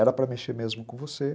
Era para mexer mesmo com você.